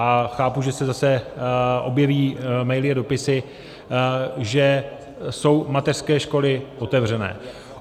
A chápu, že se zase objeví maily a dopisy, že jsou mateřské školy otevřené.